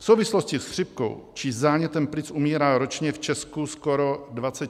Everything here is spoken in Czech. V souvislosti s chřipkou či zánětem plic umírá ročně v Česku skoro 20 000 pacientů.